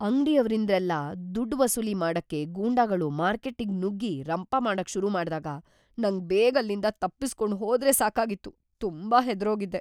ಅಂಗ್ಡಿಯವ್ರಿಂದೆಲ್ಲ ದುಡ್ಡ್‌ ವಸೂಲಿ ಮಾಡಕ್ಕೆ ಗೂಂಡಾಗಳು ಮಾರ್ಕೆಟ್ಟಿಗ್‌ ನುಗ್ಗಿ ರಂಪ ಮಾಡಕ್‌ ಶುರು ಮಾಡ್ದಾಗ ನಂಗ್‌ ಬೇಗ ಅಲ್ಲಿಂದ ತಪ್ಪಿಸ್ಕೊಂಡ್‌ ಹೋದ್ರೆ ಸಾಕಾಗಿತ್ತು, ತುಂಬಾ ಹೆದ್ರೋಗಿದ್ದೆ.